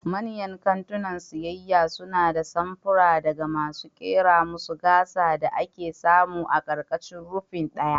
Manyan kantunan siyayya suna da samfura daga masu kera masu gasa da ake samu a ƙarƙashin rufin ɗaya.